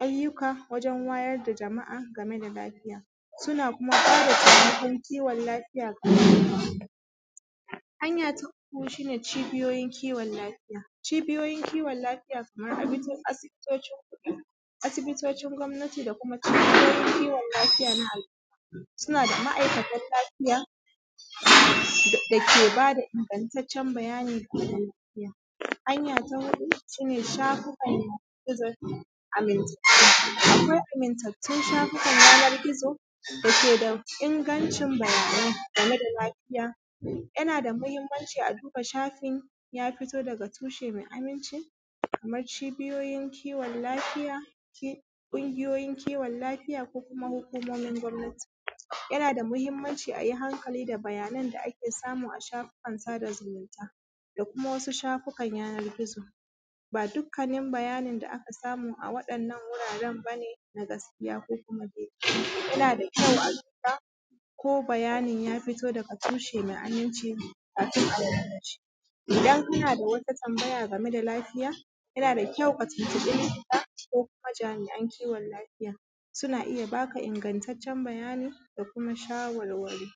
ayyuka game da wayar da kan jama’a, suna kuma bada taimakon kiwon lafiya. Hanya ta uku shine cibiyoyin kiwon lafiya, cibiyoyin kiwon lafiya Kaman asibitocin kuɗu, asibitocin gwamnati da kuma cibiyoyin kiwon lafiya na al’umma sunna da ma’aikatan lafiya dake bada ingantaccen bayani game da lafiya. Hanya ta huɗu shine shawarwari daga amintattu. Amittatun shafukar yanar gizo da keda ingancin bayanai game da lafiya, ya nada mahimmanci a duba shafin ya fito daga tushe mai aminci Kaman cibiyoyin kiwon lafiya, kungiyoyin kiwon lafiya ko kuma hukumomin gwamnati. Yanada mahimmanci a kula da duk bayanin da aka samu a shafukan yaɗa zumunta ba dukkanin bayani da aka samu a waɗannan bane na daskiya ko kuma dai. Ya nada kyau a lura ko bayanin ya fito daga tushe mai aminci kafin a yaɗashi idan kanada wata tambaya gameda lafiya, yana da kyau ka tuntuɓi likita ko kuma jami’a kiwon lafiya sunna iyya baka ingattacen bayani da kuma shawarwari.